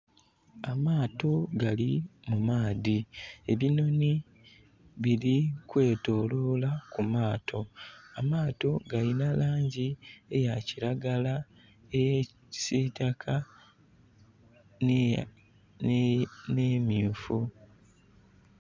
Amaato gali mu maadhi, ebinhonhi biri kwetolola ku maato. Amaato galina langi eyakilagala, eyekisitaka n'emyufu